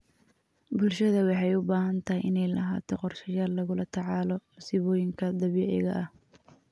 Bulshada waxay u baahan tahay inay lahaato qorshayaal lagula tacaalo musiibooyinka dabiiciga ah.